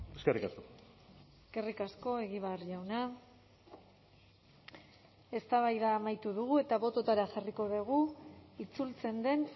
eskerrik asko eskerrik asko egibar jauna eztabaida amaitu dugu eta botoetara jarriko dugu itzultzen den